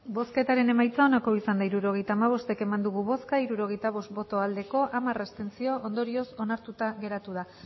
hirurogeita hamabost eman dugu bozka hirurogeita bost bai hamar abstentzio ondorioz onartuta geratu da